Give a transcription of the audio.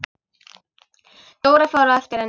Dóra fór á eftir henni.